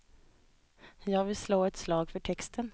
Jag vill slå ett slag för texten.